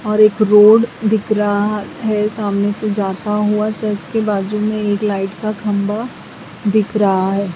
और एक रोड दिख रहा है सामने से जाता हुआ चर्च के बाजू में एक लाइट का खंभा दिख रहा है।